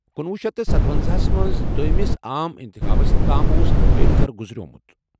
کُنوُہ شیٚتھ تہٕ ستوَنزاہ ہَس منٛز دوٚیِمس عام انتخابس تام اوس امبیڈکر گُزریومُت